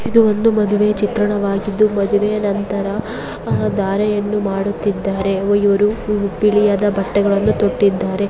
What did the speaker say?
ಇದು ಒಂದು ಮಾಡುವೆ ಚಿತ್ರಣವಾಗಿದ್ದು ಮದುವೆಯ ನಂತರ ಧಾರೆಯನ್ನು ಮಾಡುತ್ತಿದ್ದಾರೆ ಇವರು ಬಿಳಿಯಾದ ಬಟ್ಟೆಹಾಲನ್ನು ತೊಟ್ಟಿದ್ದಾರೆ.